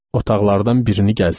Otaqlardan birini gəzdim.